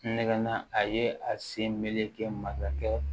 Nɛgɛnna a ye a sen meleke masakɛ